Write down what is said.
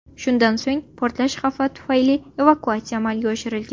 Shundan so‘ng portlash xavfi tufayli evakuatsiya amalga oshirilgan.